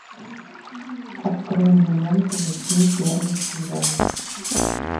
открой мне ленту восьми первых свиданий